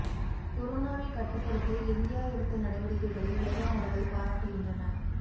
கொரோனாவை கட்டுப்படுத்த இந்தியா எடுத்த நடவடிக்கைகளை உலக நாடுகள் பாராட்டுகின்றன